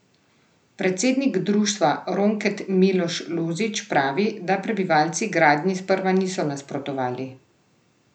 Predsednik društva Ronket Miloš Lozič pravi, da prebivalci gradnji sprva niso nasprotovali.